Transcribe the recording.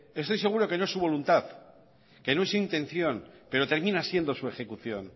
estoy seguro de que no es su voluntad que no es intención pero termina siendo su ejecución